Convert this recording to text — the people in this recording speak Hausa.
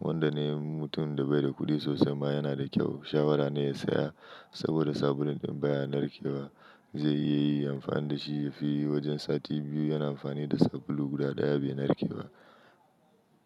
Wanda ne mutum da bai da kuɗi sosai ma yana da kyau shawara ne ya saya saboda sabulun ɗin baya narkewa. Zai iya yi amfani da shi yafi wajen sati biyu yana amfani da sabulu guda ɗaya bai narkewa.